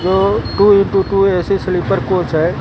To into two A C sleeper coach है।